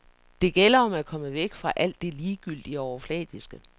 Det gælder om at komme væk fra alt det ligegyldige og overfladiske.